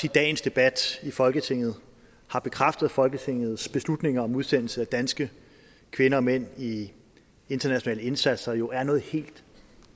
at dagens debat i folketinget har bekræftet folketingets beslutning om udsendelse af danske kvinder og mænd i internationale indsatser der jo er noget helt